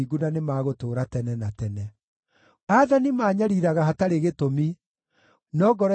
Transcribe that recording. Aathani maanyariiraga hatarĩ gĩtũmi, no ngoro yakwa ĩinainagio nĩ kiugo gĩaku.